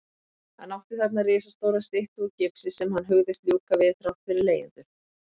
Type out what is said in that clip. Hann átti þarna risastóra styttu úr gifsi sem hann hugðist ljúka við þrátt fyrir leigjendur.